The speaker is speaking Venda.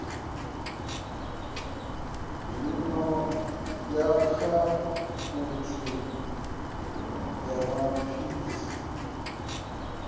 zwino ya akhaunthu ya masipala